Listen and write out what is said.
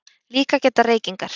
Líka geta reykingar